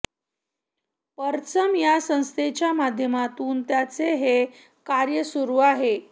परचम या संस्थेच्या माध्यमातून त्यांचे हे कार्य सुरु आहे